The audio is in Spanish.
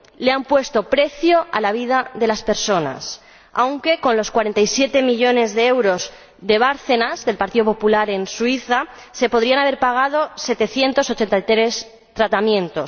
Le han puesto precio a la vida de las personas, aunque con los 47 millones de euros de Bárcenas, del Partido Popular, en Suiza, se podrían haber pagado 783 tratamientos.